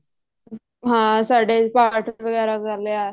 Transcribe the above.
ਹਾਂ ਸਾਡੇ ਪਾਠ ਵਗੈਰਾ ਕਰ ਲਿਆ